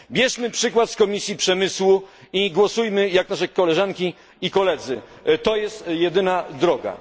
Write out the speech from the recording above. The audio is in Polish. Bierzmy przykład z Komisji Przemysłu i głosujmy jak nasze koleżanki i koledzy. Jest to jedyna droga.